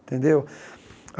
Tendeu?